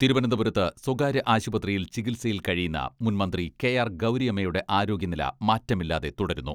തിരുവനന്തപുരത്ത് സ്വകാര്യ ആശുപത്രിയിൽ ചികിത്സയിൽ കഴിയുന്ന മുൻ മന്ത്രി കെ ആർ ഗൗരിയമ്മയുടെ ആരോഗ്യനില മാറ്റമില്ലാതെ തുടരുന്നു.